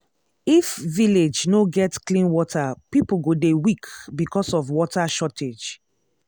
if village no get clean water people go dey weak because of water shortage.